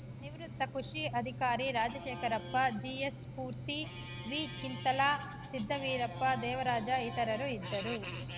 ನಿವೃತ್ತ ಕೃಷಿ ಅಧಿಕಾರಿ ರಾಜಶೇಖರಪ್ಪ ಜಿಎಸ್‌ಸ್ಪೂರ್ತಿ ವಿಚಿಂಥಲ ಸಿದ್ದವೀರಪ್ಪ ದೇವರಾಜ ಇತರರು ಇದ್ದರು